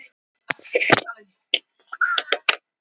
Kallaðar svo konur hér áður fyrr sem lentu í því sama og hún.